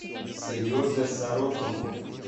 сереже сорокину